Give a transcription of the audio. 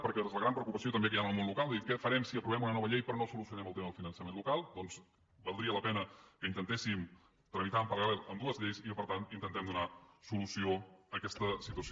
perquè és la gran preocupació també que hi ha en el món local de dir què farem si aprovem una nova llei però no solucionem el tema del finançament local doncs valdria la pena que intentéssim tramitar en paral·lel ambdues lleis i que per tant intentem donar solució a aquesta situació